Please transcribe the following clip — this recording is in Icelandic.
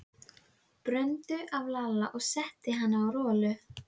Þannig þróuðust hugmyndir og ákvarðanir um ráðstöfun húsrýmis í háskólabyggingunni.